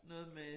Noget med